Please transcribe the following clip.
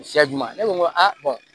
Siyaju ye ne ko n ko